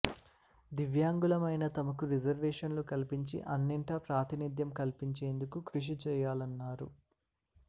దివ్యాంగులమైన తమకు రిజర్వేషన్లు కల్పించి అన్నింటా ప్రాతినిద్యం కల్పించేందుకు కృషిచేయాలన్నా రు